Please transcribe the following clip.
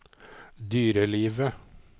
dyrelivet